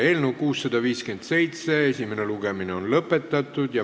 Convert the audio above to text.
Eelnõu 657 esimene lugemine on lõpetatud.